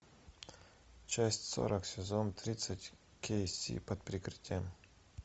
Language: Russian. часть сорок сезон тридцать кей си под прикрытием